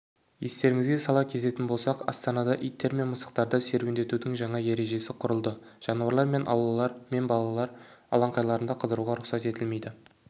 естеріңізге сала кететін болсақ астанада иттер мен мысықтарды серуендетудің жаңа ережесі құрылды жануарлармен аулалар мен балалар алаңқайларында қыдыруға рұқсат етілмейді